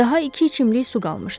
Daha iki içimlik su qalmışdı.